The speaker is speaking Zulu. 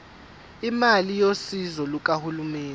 imali yosizo lukahulumeni